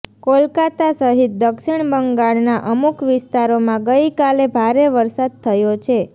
કોલકાતા સહિત દક્ષિણ બંગાળના અમુક વિસ્તારોમાં ગઈકાલે ભારે વરસાદ થયો છે